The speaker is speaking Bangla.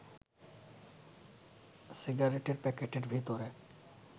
সিগারেটের প্যাকেটের ভেতরে